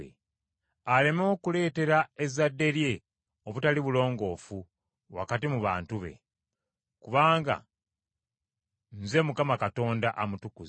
aleme okuleetera ezzadde lye obutali bulongoofu wakati mu bantu be. Kubanga Nze Mukama Katonda amutukuza.”